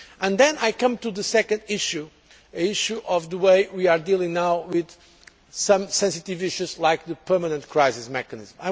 Then I come to the second issue concerning the way we are now dealing with some sensitive issues like the permanent crisis mechanism.